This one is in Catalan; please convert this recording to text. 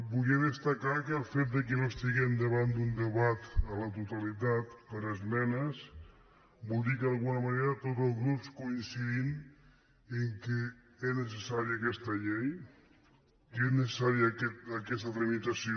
volia destacar que el fet que no estiguem davant d’un debat a la totalitat per esmenes vol dir que d’alguna manera tots els grups coincidim que era necessària aquesta llei que era necessària aquesta tramitació